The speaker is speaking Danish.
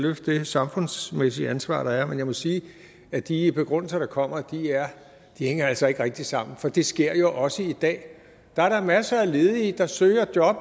løfte det samfundsmæssige ansvar der er men jeg må sige at de begrundelser der kommer altså ikke rigtig hænger sammen for det sker jo også i dag der er da masser af ledige der søger job